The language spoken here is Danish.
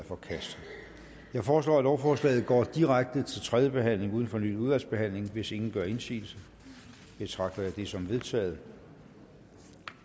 forkastet jeg foreslår at lovforslaget går direkte til tredje behandling uden fornyet udvalgsbehandling hvis ingen gør indsigelse betragter jeg det som vedtaget